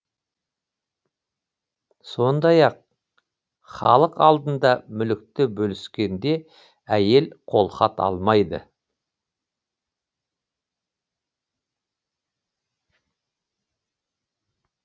сондай ақ халық алдында мүлікті бөліскенде әйел қолхат алмайды